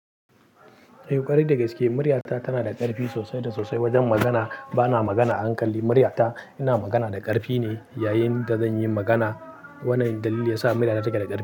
Eh, ƙwarai da gaske, muryata tana da ƙarfi sosai da sosai wajen magana. Ba na magana a hankali. Muryata ina magana da ƙarfi ne yayin da zan yi magana. Wannan dalili ya sa muryana ta keda ƙarfi.